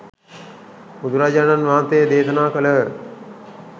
බුදුරජාණන් වහන්සේ දේශනා කළහ.